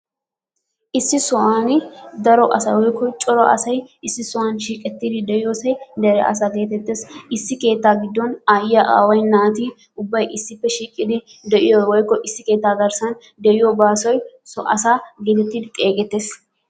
Issi sohuwwaan daro asay woikko cora asay issi sohuwaan shiiqettidi de'iyoosi dere asa geetetees. Issi keettaa gidon ayiyaa, aaway naati ubbay issippe shiiqidi de'iyoo woikko issi keettaa garssaan de'iyo gaasoy so asaa geetettidi xeesettees.